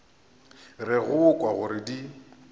re go kwa gore di